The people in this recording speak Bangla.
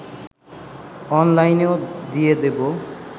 অনলাইনেও দিয়ে দেব